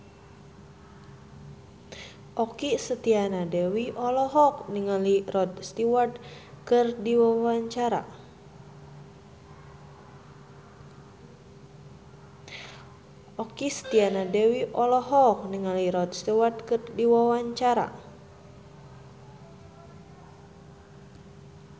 Okky Setiana Dewi olohok ningali Rod Stewart keur diwawancara